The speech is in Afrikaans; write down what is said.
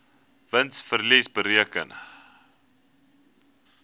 wins verlies bereken